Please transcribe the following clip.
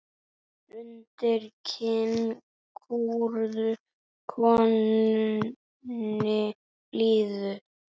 Undir kinn kúrðu konunni blíðu.